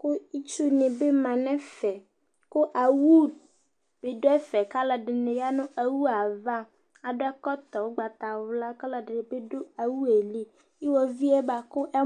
kʊ itsunɩ bɩ ma nʊ ɛfɛ, kʊ owu bɩ dʊ ɛfɛ kʊ alʊɛdɩnɩ ya nʊ owu yɛ ava, akɔ ɛkɔtɔ ugbatawla, kʊ alʊɛdɩnɩ bɩ dʊ owu yɛ li, kʊ gbokutɛ